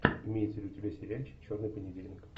имеется ли у тебя сериальчик черный понедельник